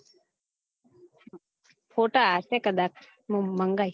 ફોટા સાથે કદાચ મંગાઈ